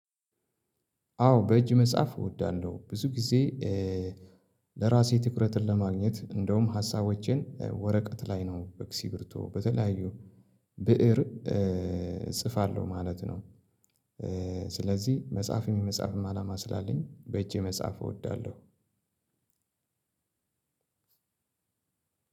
አዎ በእጅ መጻፍ እወዳለሁ ብዙ ጊዜ እ እራሴ ትኩረትን ለማገኘት እንደውም ሀሳቦቼን እ ወረቀት ላይ ነው እስኪርቢቶ በተለያዩ ብእር እ ፅፋለሁ ማለት ነው። ስለዚህ መጻፍም የመፃፍም አላማ ስላለኝ በእጄ መጻፍ እወዳለሁ።